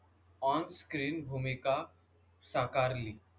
On screen भूमिका साकार ली.